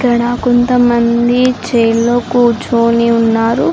ఇక్కడ కొంత మంది చైర్ లో కూర్చొని ఉన్నారు.